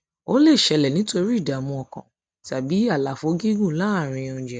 ó lè ṣẹlẹ nítorí ìdààmú ọkàn tàbí àlàfo gígùn láàárín gígùn láàárín oúnjẹ